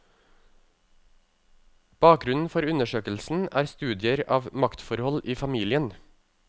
Bakgrunnen for undersøkelsen er studier av maktforhold i familien.